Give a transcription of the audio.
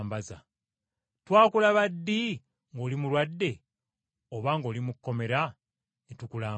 Twakulaba ddi ng’oli mulwadde oba ng’oli mu kkomera ne tukulambula?’